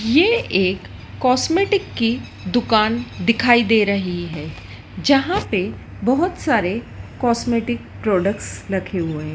ये एक कॉस्मेटिक की दुकान दिखाई दे रही है जहां पे बहुत सारे कॉस्मेटिक प्रोडक्ट्स रखे हुए हैं।